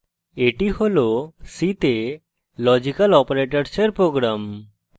এটি হল c তে লজিক্যাল অপারেটরসের program